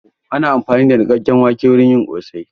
Ana amfani da niƙakken wake wurin yin ƙosai